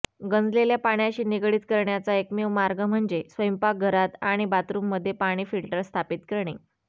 गंजलेल्या पाण्याशी निगडित करण्याचा एकमेव मार्ग म्हणजे स्वयंपाकघरांत आणि बाथरूममध्ये पाणी फिल्टर स्थापित करणे